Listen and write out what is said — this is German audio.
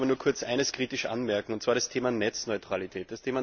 Ich wollte aber nur kurz eines kritisch anmerken, und zwar das Thema Netzneutralität.